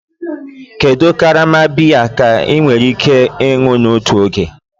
Kedu karama biya ka ị nwere ike ịṅụ n'otu oge?